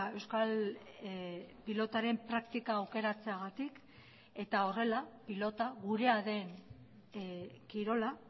euskal pilotaren praktika aukeratzeagatik eta horrela pilota gurea den kirola